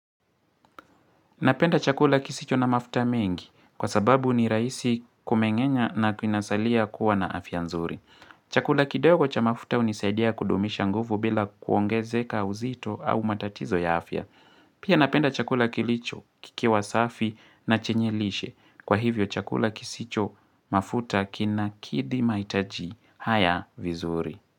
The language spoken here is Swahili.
Napenda chakula kisicho na mafuta mengi kwa sababu ni rahisi kumengenya na kinasalia kuwa na afya nzuri. Chakula kidogo cha mafuta hunisaidia kudumisha nguvu bila kuongezeka uzito au matatizo ya afya. Pia napenda chakula kilicho kikiwa safi na chenye lishe. Kwa hivyo chakula kisicho mafuta kina kidhi mahitaji haya vizuri.